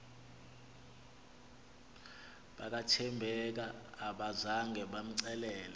bakathembeka abazanga bamcelele